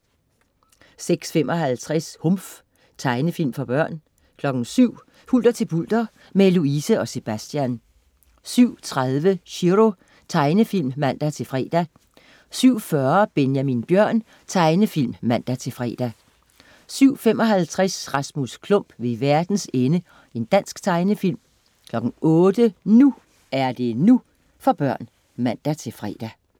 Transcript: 06.55 Humf. Tegnefilm for børn 07.00 Hulter til bulter, med Louise og Sebastian 07.30 Chiro. Tegnefilm (man-fre) 07.40 Benjamin Bjørn. Tegnefilm (man-fre) 07.55 Rasmus Klump ved verdens ende. Dansk tegnefilm 08.00 NU er det NU. For børn (man-fre)